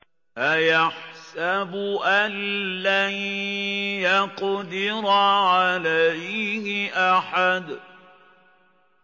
أَيَحْسَبُ أَن لَّن يَقْدِرَ عَلَيْهِ أَحَدٌ